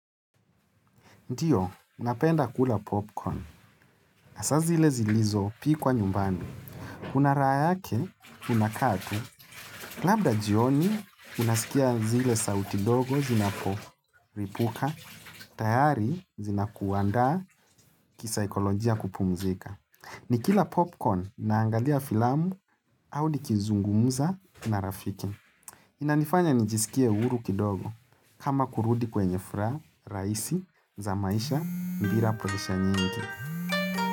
Ndiyo, napenda kula popcorn. Hasa zile zilizo pikwa nyumbani. Unaraha yake, unakaa tu. Labda jioni, unasikia zile sauti ndogo zinapolipuka, tayari zina kuandaa kisaikolojia kupumzika. Nikila popcorn, naangalia filamu, au nikizungumza na rafiki. Inanifanya nijisikie uhuru kidogo kama kurudi kwenye furaha, rahisi, za maisha, bila presha nyingi.